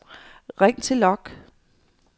ring til log